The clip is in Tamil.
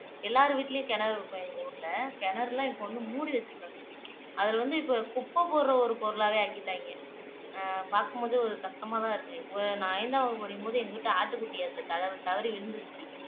எல்லார் வீட்டிலேயும் கிணறு இருக்கும் எங்க ஊருல கிணறு எல்லாம் இப்ப வந்து மூடி வச்சிருக்காங்க அதுல வந்து இப்ப குப்பை போடுற ஒரு பொருளாவே ஆக்கிட்டாங்க பாக்கும் போதே ஒரு கஷ்டமாதான் இருக்கு நான் ஐந்தாம் வகுப்பு படிக்கும் போது எங்க வீட்டு ஆட்டுக்குட்டி அதுல தவ தவறி விழுந்திருச்சு